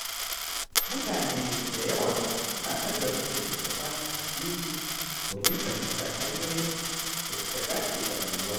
Mutane da yawa suna nazarin littattafan addini domin fahimtar hanyoyin da suka dace da rayuwa.